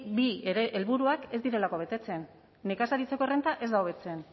bi ere helburuak ez direlako betetzen nekazaritzako errenta ez da hobetzen